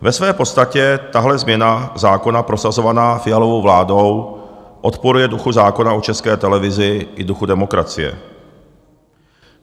Ve své podstatě tahle změna zákona prosazovaná Fialovou vládou odporuje duchu zákona o České televizi i duchu demokracie.